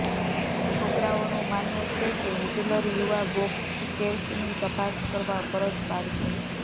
છોકરાઓનું માનવું છે કે હિટલર યુવા બોક્સકેર્સની તપાસ કરવા ફરજ પાડશે